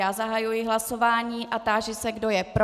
Já zahajuji hlasování a táži se, kdo je pro.